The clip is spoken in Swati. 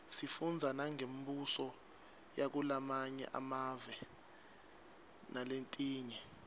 sifundza nangembuso yakulamanye emave naletinye